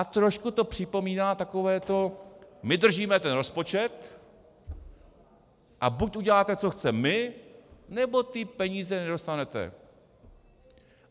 A trošku to připomíná takové to: My držíme ten rozpočet, a buď uděláte, co chceme my, nebo ty peníze nedostanete!